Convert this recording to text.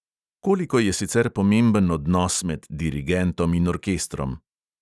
Koliko je sicer pomemben odnos med dirigentom in orkestrom?